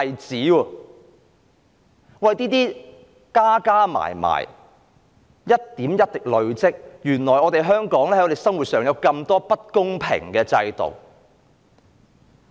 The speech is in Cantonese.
這些問題一點一滴地累積。原來，我們香港有這麼多不公平的制度。